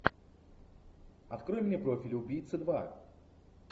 открой мне профиль убийца два